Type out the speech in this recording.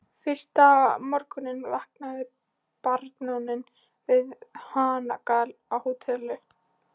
Fyrsta morguninn vaknaði baróninn við hanagal á Hótel